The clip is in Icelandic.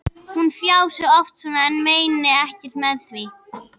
Hún fjasi oft svona en meini ekkert með því.